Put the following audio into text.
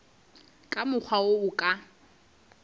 ka mokgwa wo a ka